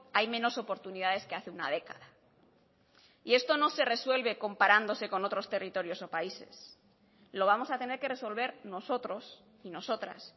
hay menos oportunidades que hace una década y esto no se resuelve comparándose con otros territorios o países lo vamos a tener que resolver nosotros y nosotras